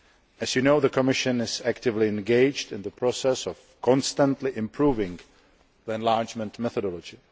As you know, the Commission is actively engaged in the process of constantly improving the enlargement methodology.